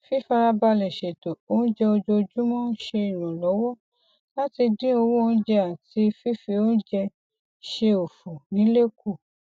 ètò yíyí padà sisan owó iléiṣẹ náà dájú pé gbogbo àwọn oṣiṣẹ tó yẹ ní gba ẹbùn wọn ní àkókò